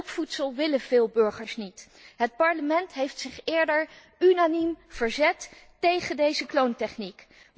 Zulk voedsel willen veel burgers niet. Het Parlement heeft zich eerder unaniem verzet tegen deze kloontechniek.